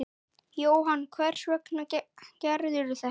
Jóhann: Hvers vegna gerðirðu það?